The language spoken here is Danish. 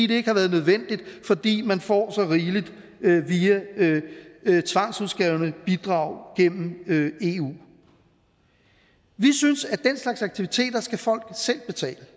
det ikke har været nødvendigt fordi man får så rigeligt via tvangsudskrevne bidrag gennem eu vi synes at den slags aktiviteter skal folk selv betale